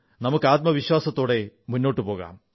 നമുക്ക് ആത്മവിശ്വാസത്തോടെ മുന്നോട്ടുപോകാം